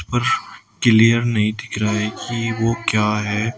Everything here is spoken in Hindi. पर किलीयर नहीं दिख रहा है कि वो क्या है?